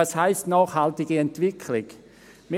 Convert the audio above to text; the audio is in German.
Was heisst aber «nachhaltige Entwicklung»?